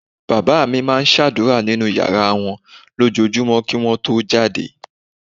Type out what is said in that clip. Bàbá mi máa ń ṣàdúrà nínú yàrá wọn lójoojúmọ́ kí wọ́n tó jáde